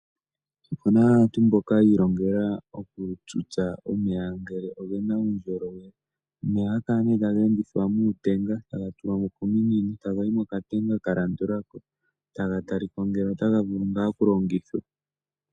Opuna aantu mboka yii longela okutsutsa omeya ngele ogena uundjolowele omeya ohaga kalacihe taga endithwa muutenga taga tulwa mo kominino taga yivmokatenga ka landulako taga talikwa ngele otaga vulu ngaa okulongithwa.